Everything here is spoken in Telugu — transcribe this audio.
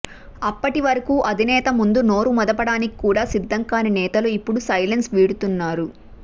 అప్పటి వరకూ అధినేత ముందు నోరు మెదపడానికి కూడా సిద్ధం కాని నేతలు ఇప్పుడు సైలెన్స్ వీడుతున్నారు